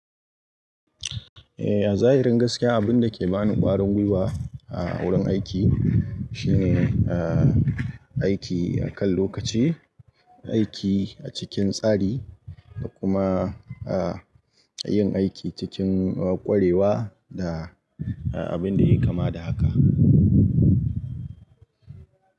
Eh a zahirin gaskiya, abin da ke bani kwarin gwiwa a wurin aiki shine, ah, aiki akan lokaci, aiki a cikin tsari da kuma, ah, yin aiki cikin ƙwarewa da abin dai kama da haka.